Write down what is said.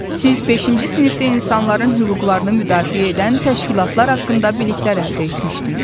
Siz beşinci sinifdə insanların hüquqlarını müdafiə edən təşkilatlar haqqında biliklər əldə etmişdiniz.